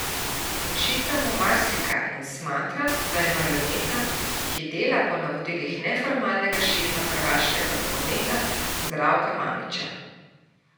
Očita mu marsikaj in smatra, da je marioneta, ki dela po navodilih neformalnega šefa hrvaškega nogometa Zdravka Mamića.